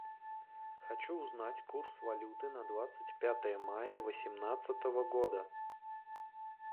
хочу узнать курс валюты на двадцать пятое мая восемнадцатого года